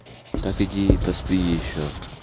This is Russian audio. так иди и поспи ещё